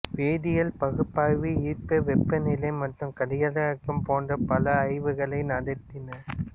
வேதியியல் பகுப்பாய்வு ஈர்ப்பு வெப்பநிலை மற்றும் கதிரியக்கம் போன்ற பல ஆய்வுகளை நடத்தின